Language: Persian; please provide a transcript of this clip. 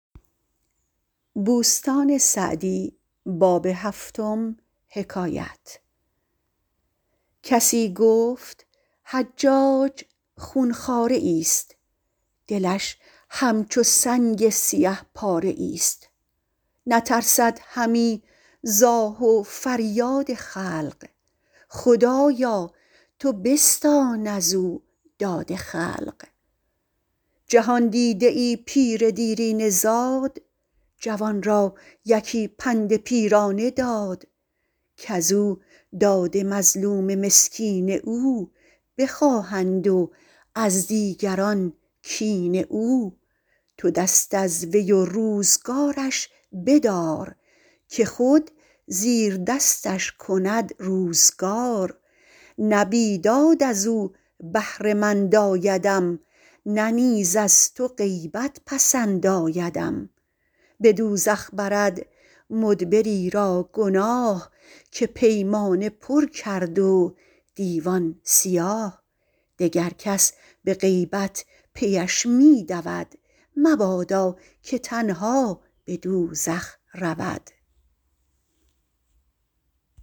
کسی گفت حجاج خون خواره ای است دلش همچو سنگ سیه پاره ای است نترسد همی ز آه و فریاد خلق خدایا تو بستان از او داد خلق جهاندیده ای پیر دیرینه زاد جوان را یکی پند پیرانه داد کز او داد مظلوم مسکین او بخواهند و از دیگران کین او تو دست از وی و روزگارش بدار که خود زیر دستش کند روزگار نه بیداد از او بهره مند آیدم نه نیز از تو غیبت پسند آیدم به دوزخ برد مدبری را گناه که پیمانه پر کرد و دیوان سیاه دگر کس به غیبت پیش می دود مبادا که تنها به دوزخ رود